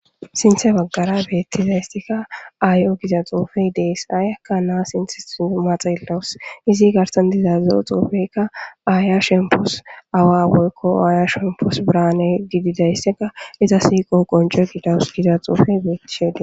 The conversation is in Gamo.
Sinthe bagara betizaysika ayo giza xufey Des, ayaka na sinthetho xelawuse, iz garsan diza zo'o xufeyka Aya shempos , awa woyko Aya shempos birane gidizaysaka issi shiqo qonce gidawus gida xufey betishe Des..